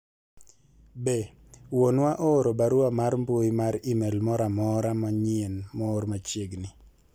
be wuonwa ooro barua mar mbui mar email moro amora manyien moor machiegni